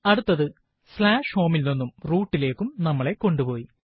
അടുത്തത് home ൽ നിന്നും root ലേക്കും നമ്മളെ കൊണ്ടുപോയി